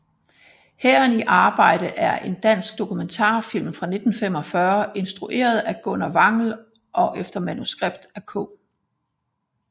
Hæren i arbejde er en dansk dokumentarfilm fra 1945 instrueret af Gunnar Wangel og efter manuskript af K